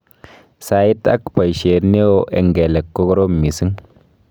Sait ak paishet neoo eng kelek kokorom missing